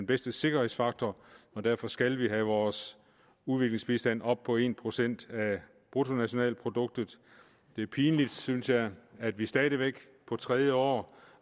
bedste sikkerhedsfaktor og derfor skal vi have vores udviklingsbistand op på en procent af bruttonationalproduktet det er pinligt synes jeg at vi stadig væk på tredje år